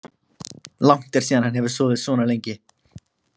Langt er síðan hann hefur sofið svona lengi.